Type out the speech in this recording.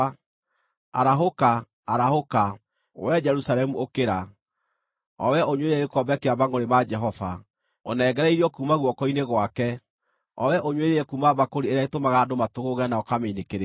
Arahũka, arahũka! Wee Jerusalemu ũkĩra, o wee ũnyuĩrĩire gĩkombe kĩa mangʼũrĩ ma Jehova, ũnengereirio kuuma guoko-inĩ gwake, o wee ũnyuĩrĩire kuuma mbakũri ĩrĩa ĩtũmaga andũ matũgũũge na ũkamĩinĩkĩrĩria.